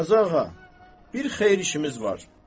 Qazıağa, bir xeyir işimiz var.